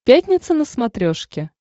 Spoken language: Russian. пятница на смотрешке